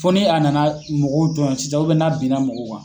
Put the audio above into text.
Fo ni a nana mɔgɔw tɔɲɔn sisan na binna mɔgɔw kan